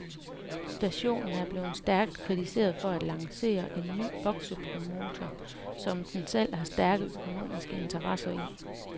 Stationen er blevet stærkt kritiseret for at lancere en ny boksepromotor, som den selv har stærke økonomiske interesser i.